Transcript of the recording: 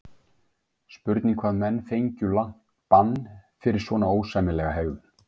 Spurning hvað menn fengju langt bann fyrir svona ósæmilega hegðun?